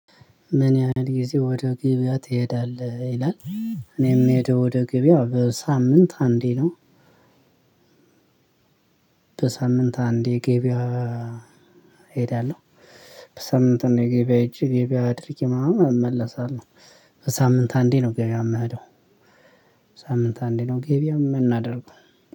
ምን ያህል ጊዜ ወደ ግብያ ትሄዳለህ ይላል? እኔ ምሄደው ወደ ግብያ በሳምንት አንዴ ነው። በሳምንት አንዴ ገቢያ እሄዳለው። በሳምንት አንዴ ገበያ ሂጂ ገበያ አድርጌ ምናምን እመለሳለው። በሳምንት አንዴ ነው ገቢያ የምሄደው። በሳምንት አንዴ ነው ገበያ የምናደርገው